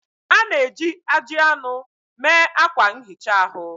A na-eji ajị anụ mee akwa nhicha ahu